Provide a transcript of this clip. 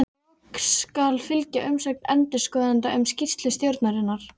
Loks skal fylgja umsögn endurskoðenda um skýrslu stjórnarinnar.